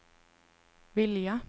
vilja